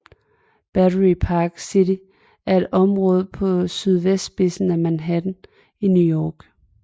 Battery Park City er et område på sydvestspidsen af Manhattan i New York